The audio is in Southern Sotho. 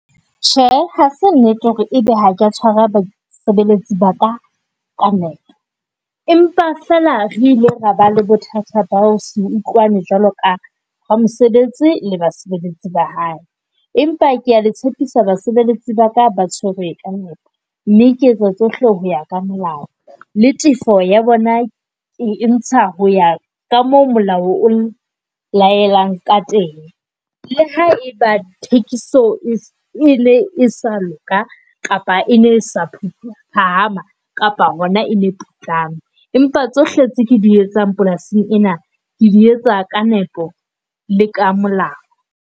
Tjhe, hase nnete hore ebe ha ka tshwara basebeletsi ba ka ka nepo. Empa fela re ile raba le bothata ba se utlwane jwale ka mosebetsi le basebeletsi ba hae, empa kea le tshepisa basebeletsi ba ka ba tshwerwe ka nepo. Mme ke etsa tsohle ho ya ka molao. Le tefo ya bona ke ntsha hoya ka moo molao o laelang ka teng. Le haeba thekiso e ne e sa loka, kapa e ne sa phahama kapa hona e ne e putlame. Empa tsohle tse ke di etsang polasing ena, ke di etsa ka nepo le ka molao.